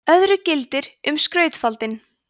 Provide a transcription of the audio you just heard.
öðru gildir um skautafaldinn